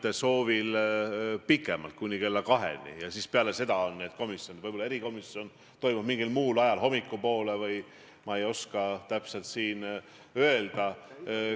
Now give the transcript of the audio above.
Te otsite justkui enda haletsemist, rünnates Kaja Kallast ja pannes talle suhu selliseid sõnu, mida ta absoluutselt kindlasti öelnud ega mõelnud ei ole ja mis ta ka ise siin ümber lükkas.